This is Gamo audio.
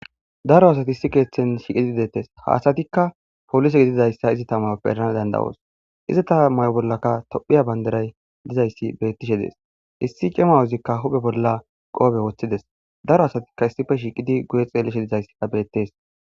daro asati issi keeththen shiiqidi deettes ha asatikka polise gididayssa izeta mayoppe erana danda7oos izi ta mayo bollaka tophiya banderay dizayssi bettishe dees issi cemawozikka huphe bolla qoobe woththides daro asatikka issife shiiqidi guye xeelishe dizayssa bettees